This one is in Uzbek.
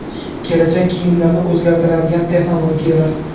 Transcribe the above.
Kelajak kiyimlarini o‘zgartiradigan texnologiyalar.